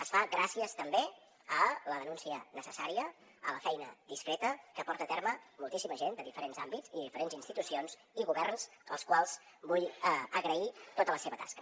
es fa gràcies també a la denúncia necessària a la feina discreta que porta a terme moltíssima gent de diferents àmbits i diferents institucions i governs als quals vull agrair tota la seva tasca